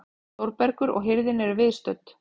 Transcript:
Þórbergur og hirðin eru viðstödd.